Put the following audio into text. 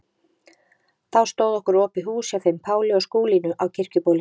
Þá stóð okkur opið hús hjá þeim Páli og Skúlínu á Kirkjubóli.